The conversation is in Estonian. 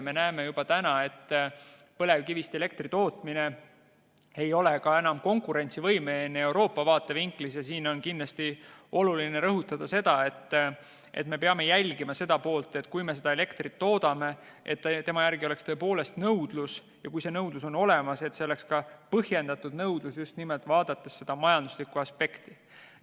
Me näeme juba täna, et põlevkivist elektri tootmine ei ole enam Euroopa vaatevinklist konkurentsivõimeline ja siin on kindlasti oluline rõhutada, et me peame jälgima, et kui me elektrit toodame, siis selle järele oleks tõepoolest nõudlus, ja kui nõudlus on olemas, siis see oleks ka põhjendatud nõudlus, just vaadates seda majanduslikku aspekti.